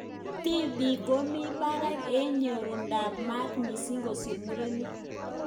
Tibik komi barak eng nyorunet ab mat missing kosir murenik.